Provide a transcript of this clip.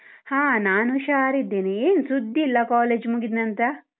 ಹ ನಾನ್ ಹುಷಾರಿದ್ದೇನೆ, ಏನ್ ಸುದ್ದಿ ಇಲ್ಲ college ಮುಗಿದ್ನಂತ್ರ?